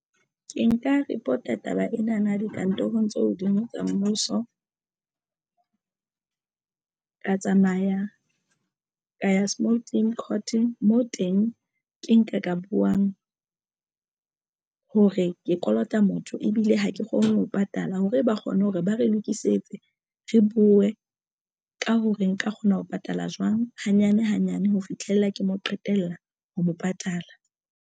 Ke nka report-a taba ena na dikantorong tse hodimo tsa mmuso ka tsamaya ka ya small claim court mo teng ke nka ka buwang ka hore ke kolota motho ebile ha ke kgone ho patala hore ba kgone hore ba re lokisetse re buwe ka ha re nka kgona ho patala jwang hanyane hanyane ho fihlella ke mo qetella ho mo patala.